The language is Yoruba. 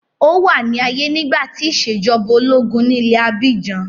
Ó wà ní ààyè nígbà tí ìṣèjọba ológun ní ilẹ̀ abíjan.